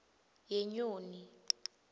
yenyoni